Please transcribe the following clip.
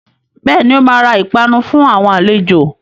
Bẹ́ẹ̀ni, ó máa ra ìpanu fún àwọn àlejò